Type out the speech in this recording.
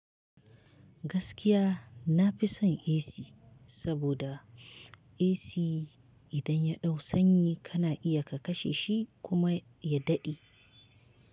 Gaskiya na fi son AC saboda AC idan ya ɗau sanyi kana iya ka kashe shi kuma ya daɗe.